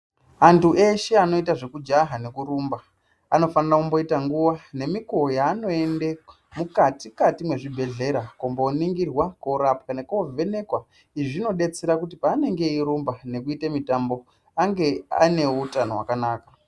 Antu eshe anoita zvekujaha nekurumba anofanira kumboita nguwa nemikuwo yaanoende mukatikati mwezvibhehlera kumboningirwa korapwa nekovhenekwa izvi zvinodetsera kuti paanenge eirumba nekuite mitambo ange ane utano hwakanaka.